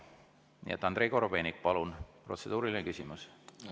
Nii et Andrei Korobeinik, palun, protseduuriline küsimus!